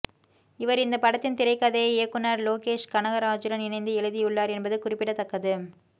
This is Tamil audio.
இவர் இந்த படத்தின் திரைக்கதையை இயக்குனர் லோகேஷ் கனகராஜூடன் இணைந்து எழுதியுள்ளார் என்பது குறிப்பிடத்தக்கது